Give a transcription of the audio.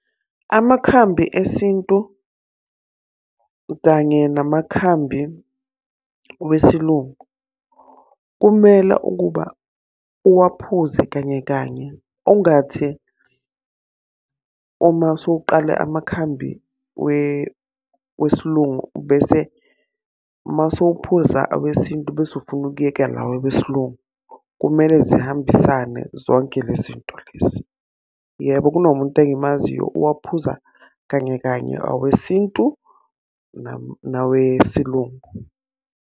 Amakhambi esintu kanye namakhambi wesilungu, kumele ukuba uwaphuze kanye kanye ungathi uma usuqala amakhambi wesilungu bese uma usuphuza awesintu bese ufuna ukuyeka lawa wesilungu. Kumele zihambisane zonke lezi zinto lezi. Yebo kunomuntu engimaziyo uwaphuza kanye kanye awesintu nawesilungu.